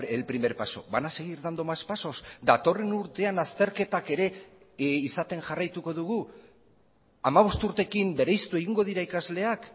el primer paso van a seguir dando más pasos datorren urtean azterketak ere izaten jarraituko dugu hamabost urteekin bereiztu egingo dira ikasleak